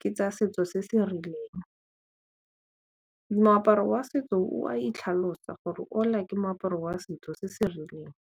ke tsa setso se se rileng, moaparo wa setso o a itlhalosa gore ke moaparo wa setso se se rileng.